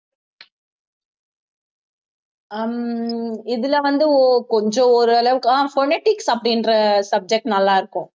ஹம் இதுல வந்து கொஞ்சம் ஓரளவுக்கு ஆஹ் phonetics அப்படின்ற subject நல்லா இருக்கும்.